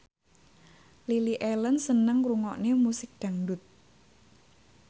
Lily Allen seneng ngrungokne musik dangdut